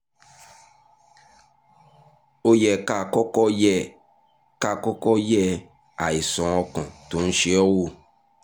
ó yẹ ká kọ́kọ́ yẹ ká kọ́kọ́ yẹ àìsàn ọkàn tó ń ṣe ẹ́ wò